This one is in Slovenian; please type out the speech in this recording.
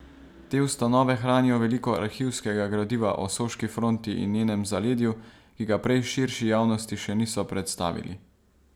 Te ustanove hranijo veliko arhivskega gradiva o soški fronti in njenem zaledju, ki ga prej širši javnosti še niso predstavili.